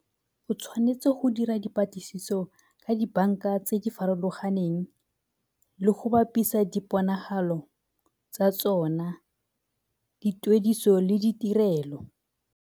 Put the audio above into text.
O tshwanetse go dira dipatlisiso ka dibanka tse di farologaneng le go bapisa diponagalo tsa tsona dituediso le ditirelo.